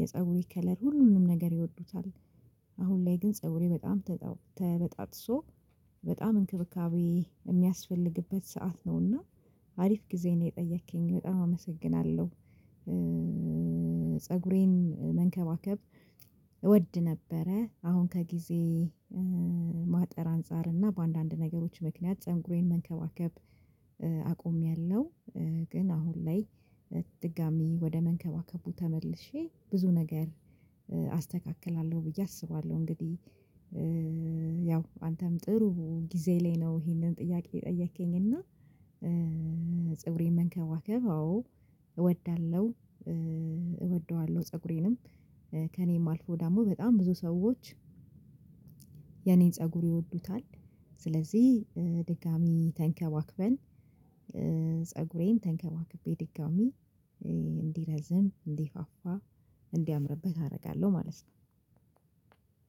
የፀጉይ ከለር ሁሉንም ነገር ይወዱታል። አሁን ላይ ግን ፀጉሬ በጣም ተበጣጥሶ በጣም እንክብካቤ የሚያስፈልግበት ሰዓት ነውና አሪፍ ጊዜ ነው የጠየከኝ በጣም አመሰግናለሁ። ፀጉሬን መንከባከብ እወድ ነበረ አሁን ከጊዜ ማጠር አንፃር እና በአንዳንድ ነገሮች ምክንያት ፀንጉሬን መንከባከብ። ግን አሁን ላይ ድጋሚ ወደ መንከባከቡ ተመልሼ ብዙ ነገር አስተካክላለሁ ብዬ አስባለሁ እንግዲህ። ያው አንተም ጥሩ ጊዜ ላይ ነው ይሄንን ጥያቄ ጠየከኝ እና ጽብሬን መንከባከብ አዎ እወዳለሁ። እወደዋለሁ ፀጉሬንም ከእኔ የማልፈው ደሞ በጣም ብዙ ሰዎች ፀጉር ይወዱታል ስለዚህ ድጋሚ ተንከባክበን ተንከባክቤ ድጋሚ እንዲረዝም እንዲፋፋ እንዲያምርብህ አደርጋለሁ ማለት ነው።